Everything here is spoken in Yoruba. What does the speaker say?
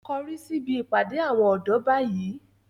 Korí síbi ìpàdé àwọn ọ̀dọ́ báyìí